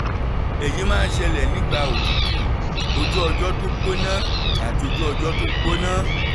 èyí máa ń ṣẹlẹ̀ nígbà òtútù ojú ọjọ́ tó gbóná àti ojú ọjọ́ tó gbóná